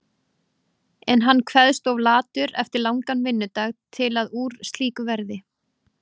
En hann kveðst of latur eftir langan vinnudag til að úr slíku verði.